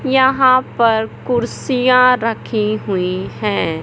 यहां पर कुर्सियां रखी हुई है।